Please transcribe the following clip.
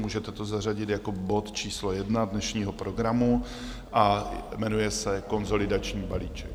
Můžete to zařadit jako bod číslo 1 dnešního programu a jmenuje se Konsolidační balíček.